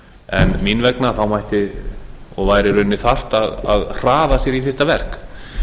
en mín vegna mætti og væri í rauninni þarft að hraða sér í þetta verk